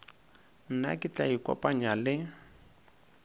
nna ke tla ikopanya le